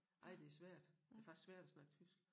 Nej det svært det faktisk svært at snakke tysk